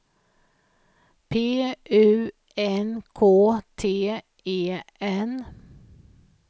P U N K T E N